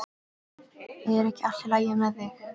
Er ekki allt í lagi með þig?